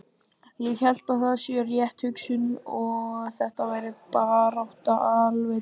Ég held að það sé rétt hugsun að þetta verði barátta alveg til enda.